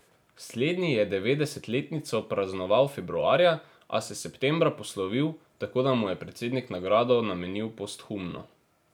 Slednji je devetdesetletnico praznoval februarja, a se septembra poslovil, tako da mu je predsednik nagrado namenil posthumno.